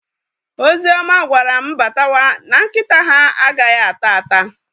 Ozioma gwara m batawa na nkịta ha a ghaghị ata ata